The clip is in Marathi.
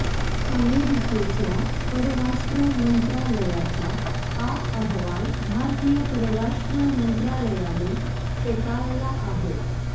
अमेरिकेच्या परराष्ट्रमंत्रालयाचा हा अहवाल भारतीय परराष्ट्र मंत्रालयाने फेटाळला आहे